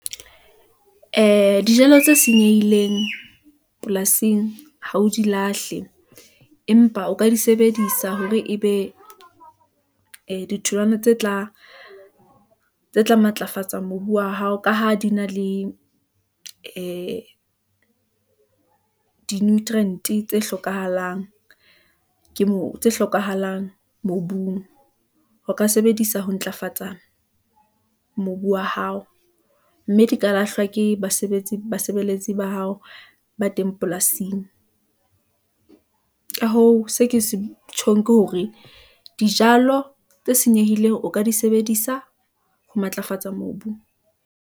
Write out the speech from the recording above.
Ee, dijalo tse senyehileng polasing ha o di lahle , empa o ka di sebedisa hore ebe ee ditholwana tse tla matlafatsa mobu wa hao ka ha di na le ee di nutrient-e tse hlokahalang mobung , ho ka sebedisa ho ntlafatsa mobu wa hao , mme di ka lahlwa ke basebeletsi ba hao ba teng polasing . Ka hoo, seo ke se tjhong ke hore , dijalo tse senyehileng o ka di sebedisa ho matlafatsa mobu.